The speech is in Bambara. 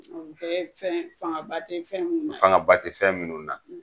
O bɛɛ ye fɛn fanga ba te fɛn mun na. Fanga ba te fɛn munnu na.